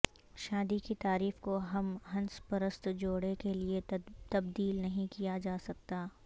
شادی کی تعریف کو ہم جنس پرست جوڑے کے لئے تبدیل نہیں کیا جا سکتا